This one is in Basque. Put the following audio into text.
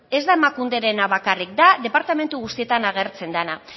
ez da emakunderena bakarri da departamentu guztietan agertzen dena